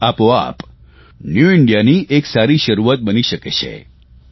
તે જ આપોઆપ ન્યુ ઇન્ડિયાની એક સારી શરૂઆત બની શકે છે